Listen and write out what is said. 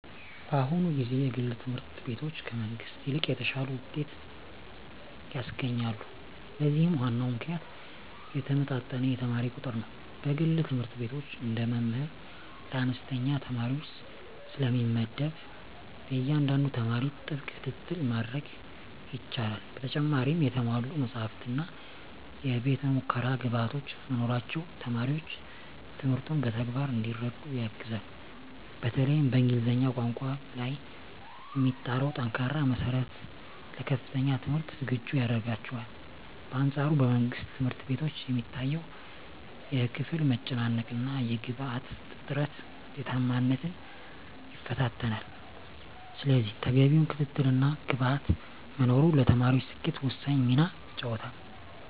በአሁኑ ጊዜ የግል ትምህርት ቤቶች ከመንግሥት ይልቅ የተሻለ ውጤት ያስገኛሉ። ለዚህም ዋናው ምክንያት የተመጣጠነ የተማሪ ቁጥር ነው። በግል ትምህርት ቤቶች አንድ መምህር ለአነስተኛ ተማሪዎች ስለሚመደብ፣ ለእያንዳንዱ ተማሪ ጥብቅ ክትትል ማድረግ ይቻላል። በተጨማሪም የተሟሉ መጻሕፍትና የቤተ-ሙከራ ግብዓቶች መኖራቸው ተማሪዎች ትምህርቱን በተግባር እንዲረዱ ያግዛል። በተለይም በእንግሊዝኛ ቋንቋ ላይ የሚጣለው ጠንካራ መሠረት ለከፍተኛ ትምህርት ዝግጁ ያደርጋቸዋል። በአንፃሩ በመንግሥት ትምህርት ቤቶች የሚታየው የክፍል መጨናነቅና የግብዓት እጥረት ውጤታማነትን ይፈታተናል። ስለዚህ ተገቢው ክትትልና ግብዓት መኖሩ ለተማሪዎች ስኬት ወሳኝ ሚና ይጫወታል።